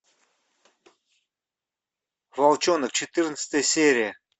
волчонок четырнадцатая серия